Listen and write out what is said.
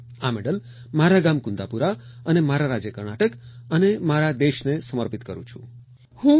આ મેડલ મારા ગામ કુન્દાપુરા અને મારા રાજ્ય કર્ણાટક અને મારા દેશને સમર્પિત કરું છું